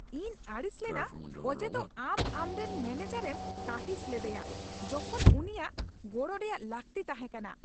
ᱤᱧ ᱟᱹᱲᱤᱥ ᱞᱮᱱᱟ ᱚᱡᱮᱫᱚ ᱟᱢ ᱟᱢᱨᱮᱱ ᱢᱮᱱᱮᱡᱟᱨ ᱮᱢ ᱠᱟᱺᱦᱤᱥ ᱞᱮᱫᱮᱭᱟ ᱡᱚᱠᱷᱚᱱ ᱩᱱᱤᱭᱟᱜ ᱜᱚᱲᱚ ᱨᱮᱭᱟᱜ ᱞᱟᱹᱠᱛᱤ ᱛᱟᱦᱮᱸ ᱠᱟᱱᱟ ᱾